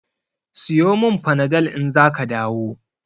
Siyo min Panadol in zaka dawo.